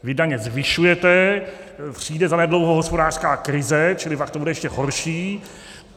Vy daně zvyšujete, přijde zanedlouho hospodářská krize, čili pak to bude ještě horší.